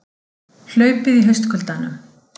Hlaupið í haustkuldanum